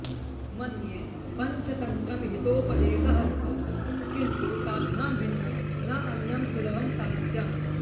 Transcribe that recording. मन्ये पञ्चतन्त्रं हितोपदेशः स्तः किन्तु ताभ्यां भिन्नं न अन्यं सुलभं साहित्यम्